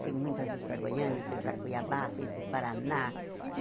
Fui muitas vezes para Goiânia, fui para Cuiabá, fui para o Paraná.